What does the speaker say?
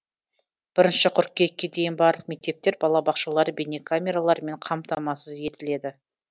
бірінші қыркүйекке дейін барлық мектептер балабақшалар бейнекамелармен қамтамасыз етіледі